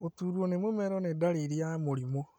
Gũturwo nĩ mũmero nĩ ndariri ya mũrimũ